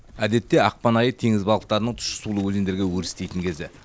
әдетте ақпан айы теңіз балықтарының тұщы сулы өзендерге өрістейтін кезі